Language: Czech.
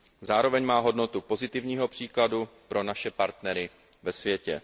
Zároveň má hodnotu pozitivního příkladu pro naše partnery ve světě.